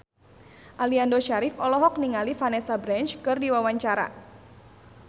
Aliando Syarif olohok ningali Vanessa Branch keur diwawancara